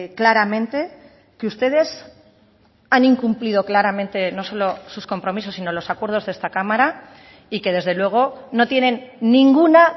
claramente que ustedes han incumplido claramente no solo sus compromisos sino los acuerdos de esta cámara y que desde luego no tienen ninguna